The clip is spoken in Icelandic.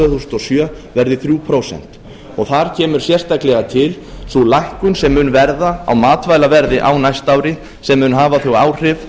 þúsund og sjö verði þrjú prósent þar kemur sérstaklega til sú lækkun sem mun verða á matvælaverði á næsta ári sem mun hafa þau áhrif